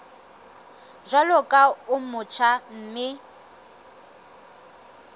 jwalo ka o motjha mme